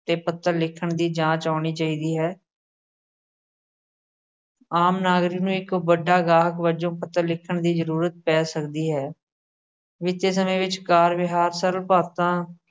ਤੇ ਪੱਤਰ ਲਿਖਣ ਦੀ ਜਾਂਚ ਆਉਣੀ ਚਾਹੀਦੀ ਹੈ। ਆਮ ਨਾਗਰਿਕ ਨੂੰ ਇੱਕ ਵੱਡਾ ਗਾਹਕ ਵਜੋਂ ਪੱਤਰ ਲਿਖਣ ਦੀ ਜਰੂਰਤ ਪੈ ਸਕਦੀ ਹੈ। ਬੀਤੇ ਸਮੇਂ ਵਿੱਚ ਕਾਰ-ਵਿਹਾਰ ਸਰਵਭਾਤਾ